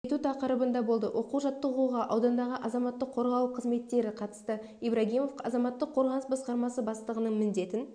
ету тақырыбында болды оқу-жаттығуға аудандағы азаматтық қорғау қызметтері қатысты ибрагимов азаматтық қорғаныс басқармасы бастығының міндетін